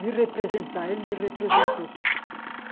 Me representar, ele me representou.